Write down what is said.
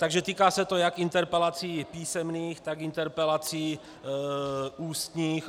Takže týká se to jak interpelací písemných, tak interpelací ústních.